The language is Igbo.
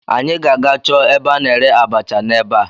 Anyị ga-aga chọọ ebe a na-ere abacha n'ebea